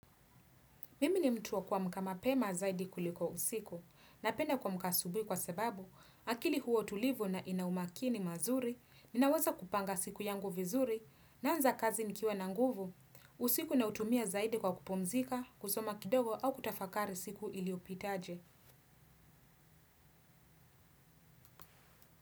Mimi ni mtu wa kuamka mapema zaidi kuliko usiku, napenda kuamka asubuhi kwa sababu, akili huwa tulivu na ina umakini mazuri, ninaweza kupanga siku yangu vizuri, naanza kazi nikiwa na nguvu, usiku nautumia zaidi kwa kupumzika, kusoma kidogo au kutafakari siku iliopitaje.